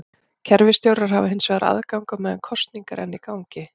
Kerfisstjórar hafa hins vegar aðgang á meðan kosning er enn í gangi.